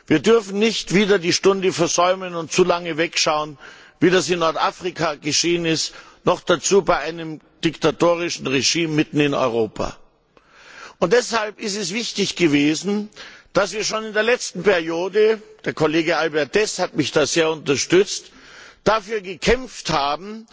Wir dürfen nicht wieder die Stunde versäumen und zu lange wegschauen, wie es in Nordafrika geschehen ist, noch dazu bei einem diktatorischen Regime mitten in Europa! Deshalb war es wichtig, dass wir schon in der letzten Wahlperiode der Kollege Albert Deß hat mich da sehr unterstützt dafür gekämpft haben,